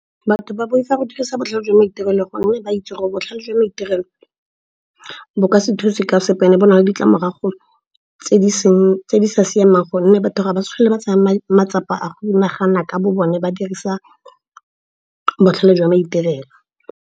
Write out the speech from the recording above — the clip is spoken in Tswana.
Batho ba boifa go dirisa botlhale jwa maitirelo gonne ba itse gore botlhale jwa maitirelo bo ka se thuse ka sepe and-e bo na le ditlamorago tse di sa siamang. Gonne batho ga ba tlhole ba tseya matsapa a go nagana ka bo bone, ba dirisa botlhale jwa maitirelo.